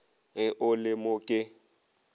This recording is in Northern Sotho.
ge o le mo ke